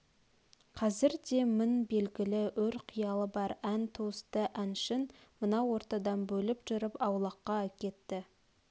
қазірде мін белгілі өр қиялы бар ән туысты әншін мынау ортадан бөліп жырып аулаққа әкетті